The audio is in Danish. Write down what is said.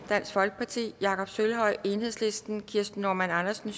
jakob sølvhøj kirsten kirsten normann andersen